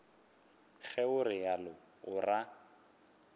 ge o realo o ra